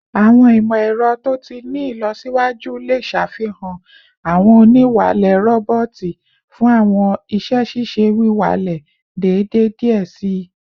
Awọn imọ-ẹrọ to ti ni ilọsiwaju le ṣafihan awọn oniwalẹ roboti fun awọn iṣẹ-ṣiṣe wiwalẹ deede diẹ sii